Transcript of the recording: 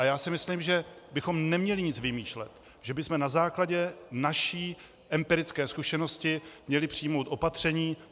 A já si myslím, že bychom neměli nic vymýšlet, že bychom na základě naší empirické zkušenosti měli přijmout opatření.